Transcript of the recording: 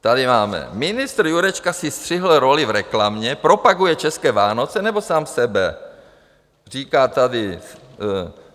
Tady máme: Ministr Jurečka si střihl roli v reklamě, propaguje české Vánoce, nebo sám sebe, říká tady.